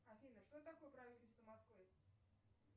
афина что такое правительство москвы